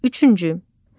Üçüncü.